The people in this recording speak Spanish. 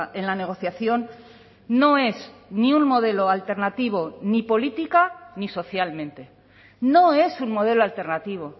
en la negociación no es ni un modelo alternativo ni política ni socialmente no es un modelo alternativo